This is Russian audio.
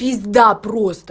пизда просто